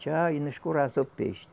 Tcha e não escorraça o peixe.